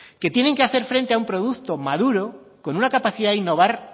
que tienen que hacer frente a un producto madura con una capacidad de innovar